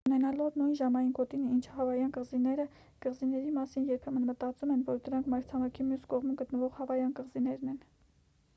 ունենալով նույն ժամային գոտին ինչ հավայան կղզիները կղզիների մասին երբեմն մտածում են որ դրանք մայրցամաքի մյուս կողմում գտնվող հավայան կղզիներ են